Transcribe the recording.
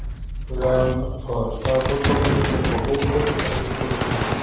Við lögðum svo af stað fótgangandi upp á hótel þar sem Kristján